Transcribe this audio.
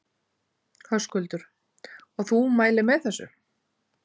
Höskuldur: Og þú mælir með þessu?